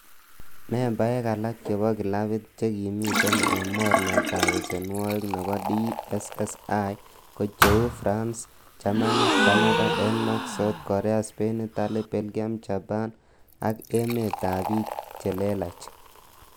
Membaek alak chebo clabit, che kimiten en mornetab besenwogik nebo DSSI ko cheu ;France, Germany, Canada, Denmark, South korean, Spain, Italy, Belgium, Japan ak emetab bik che lelach.